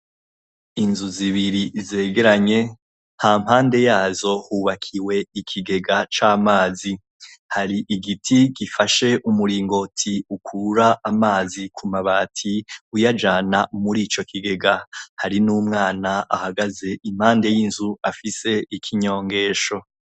Inzu zibiri zegeranye hampande yazo hubakiwe ikigega c'amazi, hari igiti gifashe umuringoti ukura amazi ku mabati uyajana muri ico kigega, hari n'umwana ahagaze impande y'inzu afise ikinyongesho.